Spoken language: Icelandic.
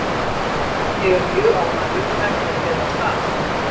Ég er mjög ánægður og þetta fer vel af stað.